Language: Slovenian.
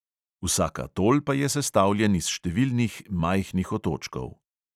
Vsak atol pa je sestavljen iz številnih majhnih otočkov.